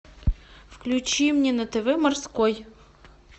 включи мне на тв морской